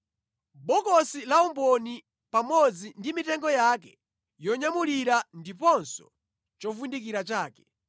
bokosi la umboni pamodzi ndi mitengo yake yonyamulira ndiponso chovundikira chake;